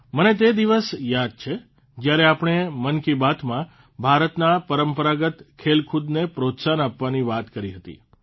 મને તે દિવસ યાદ છે જયારે આપણે મન કી બાતમાં ભારતના પરંપરાગત ખેલકૂદને પ્રોત્સાહન આપવાની વાત કરી હતી